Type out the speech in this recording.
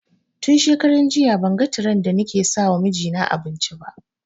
Tun shekaran jiya ban ga tiren da ni ke sama mijina abinci ba